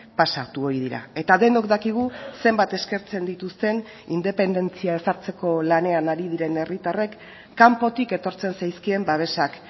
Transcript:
pasatu ohi dira eta denok dakigu zenbat eskertzen dituzten independentzia ezartzeko lanean ari diren herritarrek kanpotik etortzen zaizkien babesak